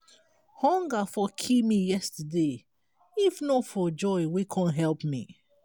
hunger for kill me yesterday if not for joy wey come help me.